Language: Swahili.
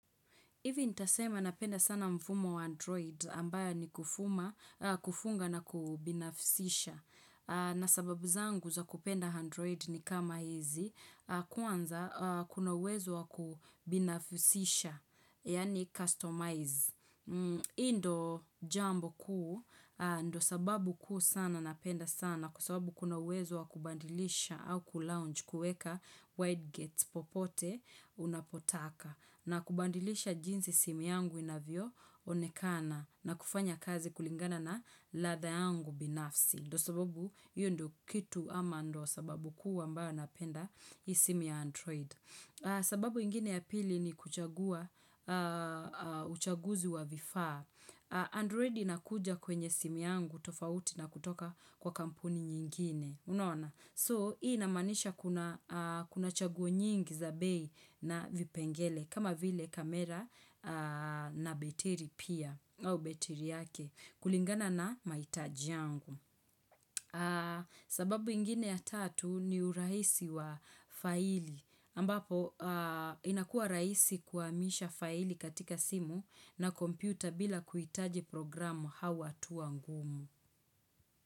Hivi nitasema napenda sana mfumo wa Android ambayo ni kufunga na kubinafisisha. Na sababu zangu za kupenda Android ni kama hizi, kwanza kuna uwezo wa kubinafisisha, yaani customize. Hii ndio jambo kuu, ndio sababu kuu sana napenda sana kwa sababu kuna uwezo wa kubadilisha au kulounge kuweka wide gates popote unapotaka. Na kubadilisha jinsi simu yangu inavyoonekana na kufanya kazi kulingana na ladha yangu binafsi. Ndio sababu hiyo ndio kitu ama ndio sababu kuu ambayo napenda hii simu ya Android. Sababu ingine ya pili ni kuchagua uchaguzi wa vifaa. Android inakuja kwenye simu yangu tofauti na kutoka kwa kampuni nyingine. So, hii inamaanisha kuna chaguo nyingi za bei na vipengele, kama vile kamera na betiri pia, au betiri yake, kulingana na mahitaji yangu. Sababu ingine ya tatu ni urahisi wa faili, ambapo inakua rahisi kuhamisha faili katika simu na kompyuta bila kuhitaje programu au hatua ngumu.